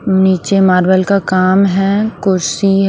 नीचे मार्बल का काम है कुर्सी।